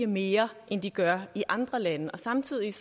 mere end de gør i andre lande og samtidig er